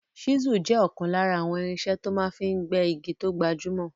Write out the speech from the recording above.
Ṣísùl jẹ́ ọ̀kan lára àwọn irinṣẹ́ tó máa fi n gbẹ́ igi tó gbajúmọ̀